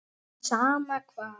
En sama hvað.